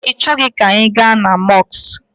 Ọ bụ na ị chọghi ka anyị ga na mọsụkụ?